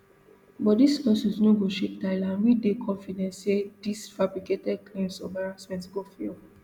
but dis lawsuit no go shake tyler and we dey confident say these fabricated claims of harassment go fail